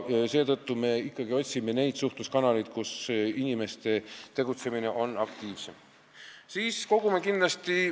Me otsime ikkagi neid suhtluskanaleid, mida kasutatakse aktiivsemalt.